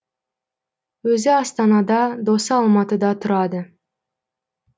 өзі астанада досы алматыда тұрады